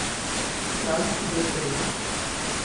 Prav shizofreno.